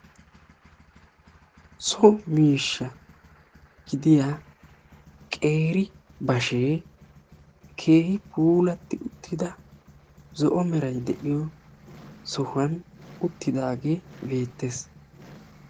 So miishsha gidiya qeeri bashee keehi puulatti uttida zo'o meray de'iyo sohuwan uttidaagee beettes.